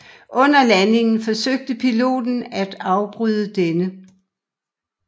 Under landingen forsøgte piloten at afbryde denne